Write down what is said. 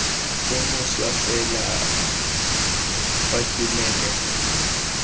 o mošwa fela fa tumelelo